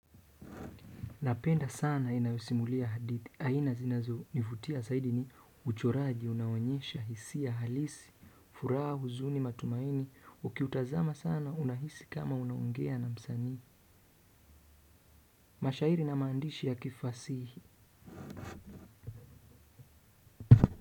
Napenda sana inayosimulia hadithi. Aina zinazo nivutia zaidi ni uchoraji unaoonyesha hisia halisi, furaha huzuni matumaini, ukiutazama sana unahisi kama unaongea na msanii. Mashairi na maandishi ya kifasihi.